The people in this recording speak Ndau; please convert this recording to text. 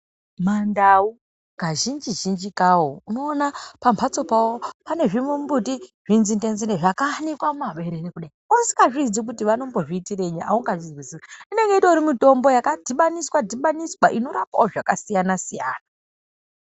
MaNdau kazhinji zhinji kawo unoona pambatso pawo pane zvimumbuti, zvinzinde nzinde zvakayanikwa mumaberere kudai. Usikaziyi kuti vanozviitirenyi, haungazviziyi. Inenge itori mitombo yakadhibaniswa dhibaniswa inorapawo zvakasiyana siyana.